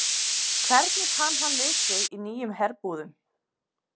Hvernig kann hann við sig í nýjum herbúðum?